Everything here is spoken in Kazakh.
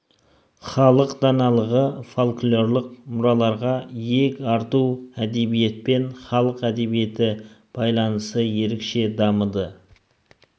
халық даналығы фольклорлық мұраларға иек арту әдебиет пен халық әдебиеті байланысы ерекше дамыды